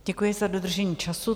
Děkuji za dodržení času.